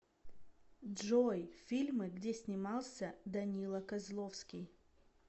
джой фильмы где снимался данила козловский